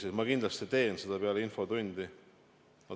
Aga ma kindlasti teen seda peale infotundi.